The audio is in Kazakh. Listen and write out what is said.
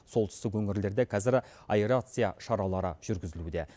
солтүстік өңірлерде қазір аэрация шаралары жүргізілуде